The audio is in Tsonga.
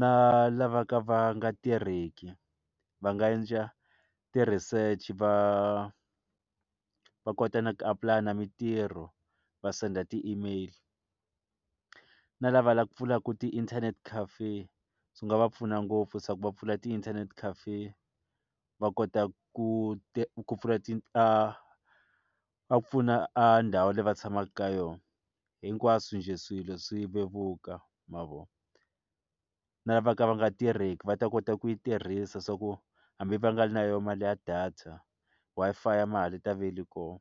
na lava ka va nga tirheki va nga endla ti-research va va kota na ku apply na mitirho va sendela ti-email na lava lava pfulaku ti-internet cafe swi nga va pfuna ngopfu swa ku va pfula ti-internet cafe va kota ku pfuna ndhawu leyi va tshamaka ka yona hinkwaswo njhe swilo swi vevuka ma vo na lava ka va nga tirheki va ta kota ku yi tirhisa swa ku hambi va nga ri na yona mali ya data Wi-Fi ya mahala yi ta va yi ri kona.